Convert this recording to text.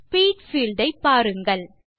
speed field ஐ பாருங்கள்